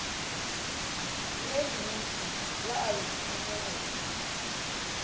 le lentši la ayotine go